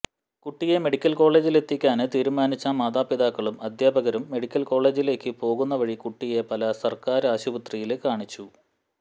കുട്ടിയെ മെഡിക്കല് കോളേജിലെത്തിക്കാന് തീരുമാനിച്ച മാതാപിതാക്കളും അധ്യാപകരും മെഡിക്കല് കോളേജിലേക്കു പോകുന്ന വഴി കുട്ടിയെ പാല സര്ക്കാര് ആശുപത്രിയില് കാണിച്ചു